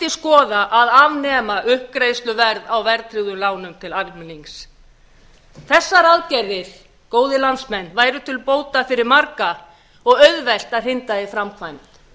skoða að afnema uppgreiðsluverð á verðtryggðum lánum til almennings þessar aðgerðir góðir landsmenn væru til bóta fyrir marga og auðvelt að hrinda í framkvæmd